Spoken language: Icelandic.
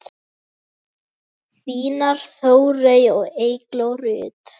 Þínar Þórey og Eygló Rut.